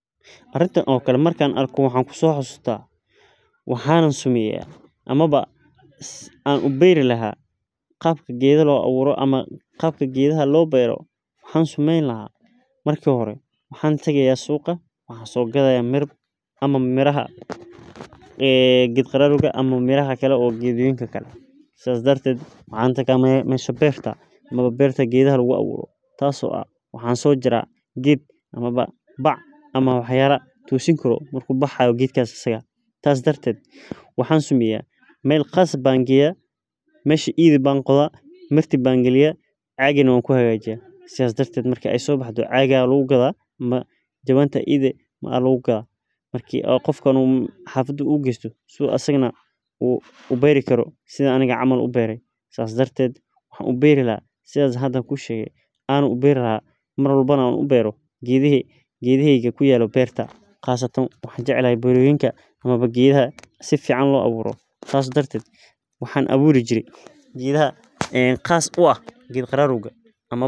Arintan camal markaan arko waxaan kusoo xasuusta ama waxaan sameyni lahaa qeebta niraha loo abuuro waxaan soo gadaaya miraha waxaan aad meelaa lagu abuuri lahaa ama bac ayaan soo qaadi lahaa marki caaga lagu gato saas ayaan ubeera geedaheyga beerta qasatan geedaha geed qararowga ayaan sait ubeera.